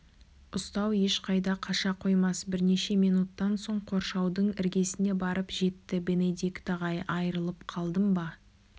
ұстау ешқайда қаша қоймас бірнеше минуттан соң қоршаудың іргесіне барып жетті бенедикт ағай айрылып қалдым ба